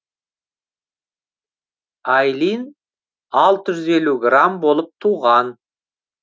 айлин алты жүз елу грамм болып туған